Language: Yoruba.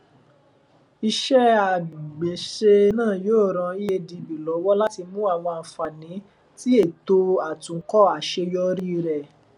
ise agbese naa yoo ran eadb lọwọ lati mu awọn anfani ti eto atunkọ aṣeyọri rẹ